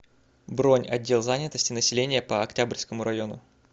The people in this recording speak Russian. бронь отдел занятости населения по октябрьскому району